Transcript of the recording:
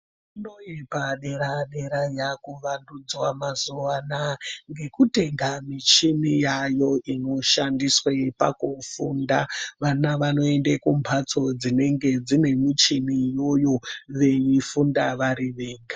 Fundo yepadera-dera yakuvandudzwa mazuwa anaya ngekutenga muchini yayo inoshandiswe pakufunda. Vana vanoende kumbatso dzinenge dzine muchini iyoyo veifunda vari vega.